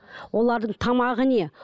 олардың тамағы не